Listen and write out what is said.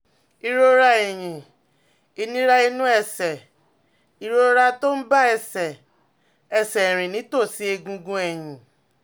ìrora ẹ̀yìn, ìnira nínú ẹsẹ̀, ìrora tó ń bá ẹsẹ̀ ẹsẹ̀ rìn nítòsí egungun ẹ̀yìn